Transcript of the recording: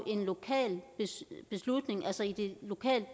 en lokal beslutning altså i de lokale